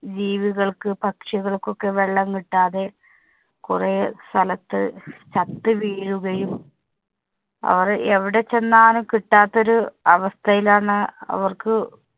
ജീവികള്‍ക്ക്, പക്ഷികള്‍ക്കൊക്കെ വെള്ളം കിട്ടാതെ കുറെ സ്ഥലത്ത് ചത്ത് വീഴുകയും, അവര്‍ എവിടെ ചെന്നാലും കിട്ടാത്ത ഒരു അവസ്ഥയിലാണ് അവര്‍ക്ക്